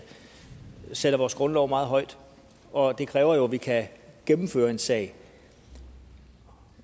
sætter vores grundlov meget højt og det kræver jo at vi kan gennemføre en sag